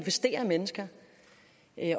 en